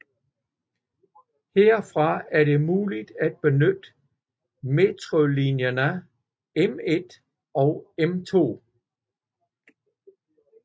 Herfra er det muligt at benytte metrolinjerne M1 og M2